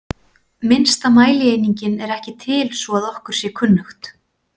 Minnsta mælieiningin er ekki til svo að okkur sé kunnugt.